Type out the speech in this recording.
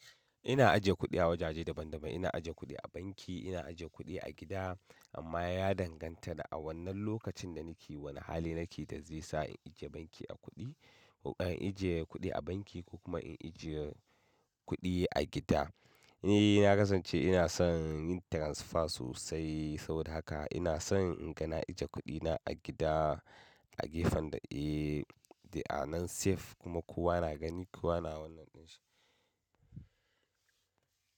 Ina ajiye kuɗi a wajaje daban-daban. Ina ajiye kuɗi a banki, ina ajiye kuɗi a gida. Amma ya danganta da a wannan lokacin da nake, wane hali nake da zai sa in ajiye banki a kuɗi, in ajiye kuɗi a banki ko kuma in ajiye kuɗi a gida. Ni na kasance inason yin transfer sosai saboda haka inason in gana ajiye kuɗina a gida a gefen da eh, da anan safe kuma kowa na gani, kowa na wannan ɗin shi.